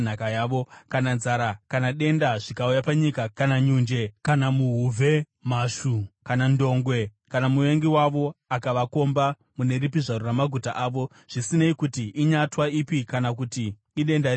“Kana nzara kana denda zvikauya panyika, kana nyunje, kana muhuvhe, mhashu, kana ndongwe kana muvengi wavo akavakomba mune ripi zvaro ramaguta avo, zvisinei kuti inyatwa ipi kana kuti idenda ripi rauya,